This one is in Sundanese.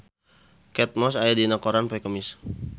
Kate Moss aya dina koran poe Kemis